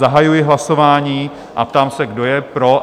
Zahajuji hlasování a ptám se, kdo je pro?